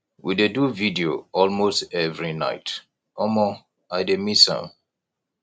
we dey do video all most every night omo i dey miss am